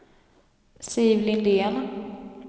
Siv Lindén